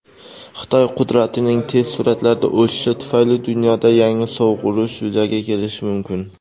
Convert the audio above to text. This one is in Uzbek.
"Xitoy qudratining tez sur’atlarda o‘sishi tufayli dunyoda yangi "Sovuq urush" yuzaga kelishi mumkin.